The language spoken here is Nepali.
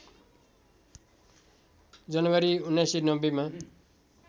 जनवरी १९९० मा